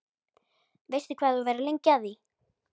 Veistu hvað þú verður lengi að því?